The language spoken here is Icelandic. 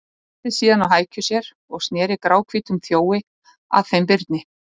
Settist síðan á hækjur sér og sneri gráhvítum þjói að þeim Birni.